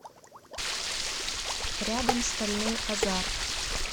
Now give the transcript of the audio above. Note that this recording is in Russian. рядом стальной азарт